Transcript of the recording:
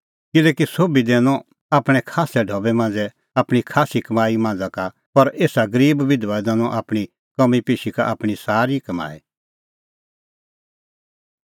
किल्हैकि सोभी दैनअ आपणैं खास्सै ढबै मांझ़ै आपणीं खास्सी कमाई मांझ़ा का पर एसा गरीब बिधबा दैनअ आपणीं काम्मीपेशी का आपणीं सारी कमाई